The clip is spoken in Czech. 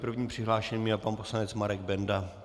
Prvním přihlášeným je pan poslanec Marek Benda.